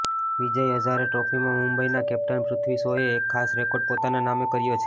વિજય હઝારે ટ્રોફીમાં મુંબઈનાં કેપ્ટન પૃથ્વી શોએ એક ખાસ રેકોર્ડ પોતાના નામે કર્યો છે